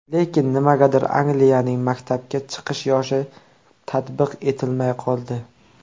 Lekin nimagadir Angliyaning maktabga chiqish yoshi tatbiq etilmay qoldi.